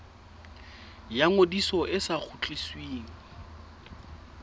ya ngodiso e sa kgutlisweng